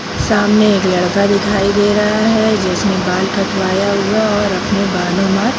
सामने एक लड़का दिखाई दे रहा है जिसने बाल कटवाया हुआ है और अपने बालों पर --